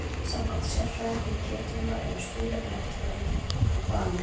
Samkvæmt sérfræðingum Getrauna eru stuðlarnir eftirfarandi: Valur